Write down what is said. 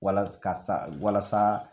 Walasa ka sa walasa